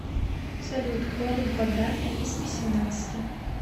салют корень квадратный из восемнадцати